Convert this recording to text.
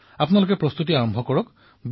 তেন্তে আপোনালোকে প্ৰস্তুতি আৰম্ভ কৰক